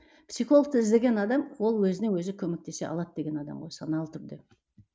психологты іздеген адам ол өзіне өзі көмектесе алады деген адам ғой саналы түрде